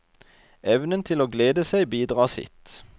Evnen til å glede seg bidrar sitt.